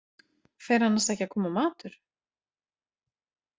Fer annars ekki að koma matur?